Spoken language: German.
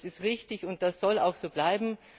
Das ist richtig, und das soll auch so bleiben.